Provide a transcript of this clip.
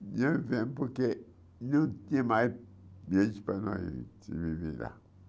E eu vim, porque não tinha mais jeito para nós viver lá.